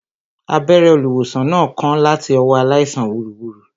Abẹ́rẹ́ olùwòsàn náà kán láti ọwọ́ aláìsàn wúruwùru